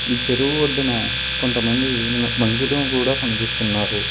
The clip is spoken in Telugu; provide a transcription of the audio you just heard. ఈ చెరువు ఒడ్డున కొంతమంది న మనుషులు కూడా కనిపిస్తున్నారు.